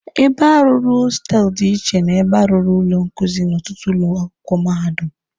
Ebe a rụrụ hostelụ dị iche na ebe a rụrụ ụlọ nkuzi n'ọtụtụ ụlọ akwụkwọ mahadum.